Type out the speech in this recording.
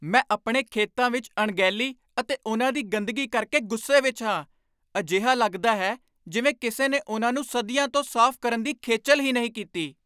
ਮੈਂ ਆਪਣੇ ਖੇਤਾਂ ਵਿੱਚ ਅਣਗਹਿਲੀ ਅਤੇ ਉਨ੍ਹਾਂ ਦੀ ਗੰਦਗੀ ਕਰਕੇ ਗੁੱਸੇ ਵਿੱਚ ਹਾਂ। ਅਜਿਹਾ ਲੱਗਦਾ ਹੈ ਜਿਵੇਂ ਕਿਸੇ ਨੇ ਉਨ੍ਹਾਂ ਨੂੰ ਸਦੀਆਂ ਤੋਂ ਸਾਫ਼ ਕਰਨ ਦੀ ਖੇਚਲ ਹੀ ਨਹੀਂ ਕੀਤੀ।